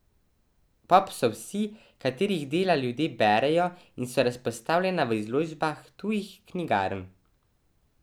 Pop so vsi, katerih dela ljudje berejo in so razpostavljena v izložbah tujih knjigarn.